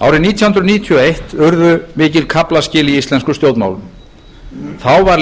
árið nítján hundruð níutíu og eitt urðu mikil kaflaskil í íslenskum stjórnmálum þá var